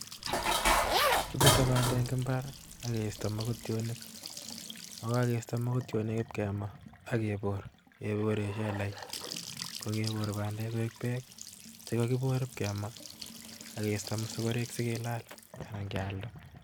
Kibute bandek eng' imbaar akisto mokotionik ak yekokiste mokotionik kemaa ak kebor keboren shelait kokebor bandeek koik beek chekokibor kiib kemaa ak kisto mosogorek sigilal anan kealda